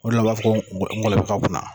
Olu de la u b'a fɔ ko n ngolɔbɛ ka kunna